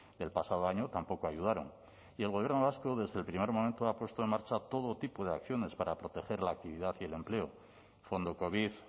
del pasado año tampoco ayudaron y el gobierno vasco desde el primer momento ha puesto en marcha todo tipo de acciones para proteger la actividad y el empleo fondo covid